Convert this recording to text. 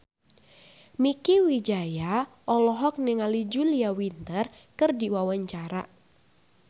Mieke Wijaya olohok ningali Julia Winter keur diwawancara